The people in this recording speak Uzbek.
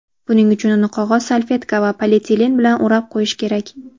Buning uchun uni qog‘oz salfetka va polietilen bilan o‘rab qo‘yish kerak.